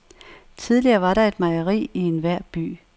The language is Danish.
Tidligere var der et mejeri i enhver by.